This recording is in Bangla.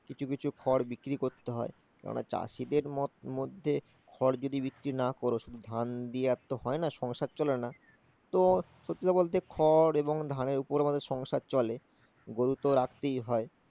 কিছু কিছু খড় বিক্রি করতে হয় কারণ চাষিদের মধ্যে খড় যদি বিক্রি না করো, ধান দিয়ে আর তো হয় না, সংসার চলে না। তো সত্যি কথা বলতে খড় এবং ধানের উপরে আমাদের সংসার চলে